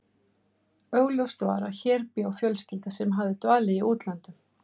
Augljóst var að hér bjó fjölskylda sem hafði dvalið í útlöndum.